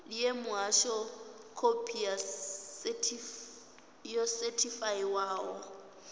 ṋee muhasho khophi yo sethifaiwaho